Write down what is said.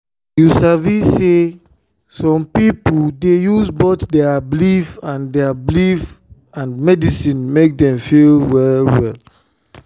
you sabi say some people dey use both their belief and their belief and medicine make dem feel well well.